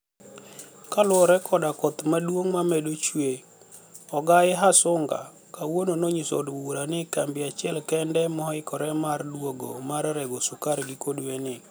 kaluore koda koth maduonig mamedo chue ogai Hasuniga kawuono noniyiso od bura nii kambi achiel kenide mohikore mar duogo mar rego sukari giko dwenii.